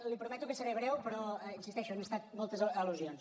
li prometo que seré breu però hi insisteixo han estat moltes al·lusions